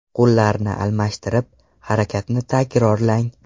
Qo‘llarni almashtirib, harakatni takrorlang.